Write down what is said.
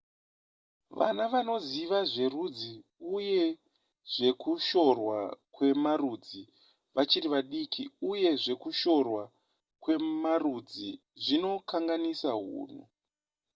vana vanoziva zverudzi uye zvekushorwa kwemarudzi vachiri vadiki uye zvekushorwa kwemarudzi zvinokanganisa hunhu